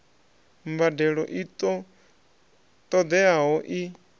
mbadelo i ṱo ḓeaho i